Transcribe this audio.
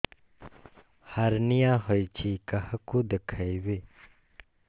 hernia ହୋଇଛି କାହାକୁ ଦେଖେଇବି